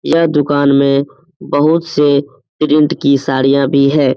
यह दुकान में बहुत से प्रिन्ट की साड़ियां भी है।